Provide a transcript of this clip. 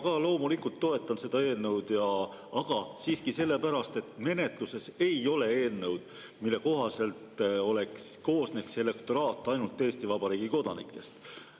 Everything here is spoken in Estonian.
Ma ka loomulikult toetan seda eelnõu, aga siiski sellepärast, et menetluses ei ole eelnõu, mille kohaselt koosneks elektoraat ainult Eesti Vabariigi kodanikest.